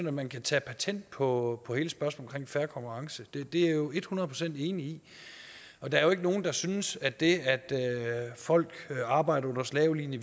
at man kan tage patent på hele spørgsmålet om fair konkurrence det er jeg jo hundrede procent enig i der er jo ikke nogen der synes at det at folk arbejder under slavelignende